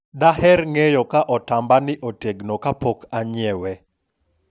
daher ng'eyo ka otamba ni otegno kapok anyiewe